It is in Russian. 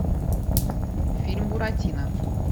фильм буратино